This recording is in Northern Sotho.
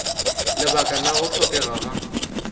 lebaka la go hlokega ga